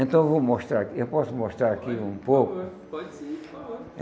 Então eu vou mostrar, eu posso mostrar aqui um pouco? Pode, por favor. Pode sim, por favor.